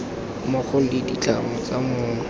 mmogo le dintlha tsa mong